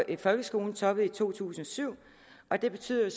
i folkeskolen toppede i to tusind og syv og det betyder